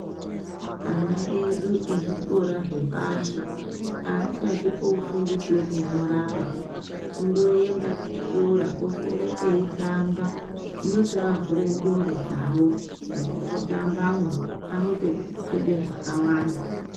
Ana edu ezvikora zvepashi aasati ofundiswe kunyoraba kundoenda kuchikoro oswera eitamba zvinotovavhura ndxondo dzavo mukutambamo anotofunda zvakawanda